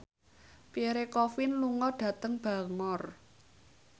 Pierre Coffin lunga dhateng Bangor